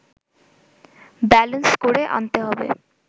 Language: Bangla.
ব্যালেনস করে আনতে হবে